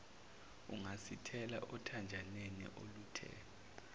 ungasithelela okhanjaneni oluthe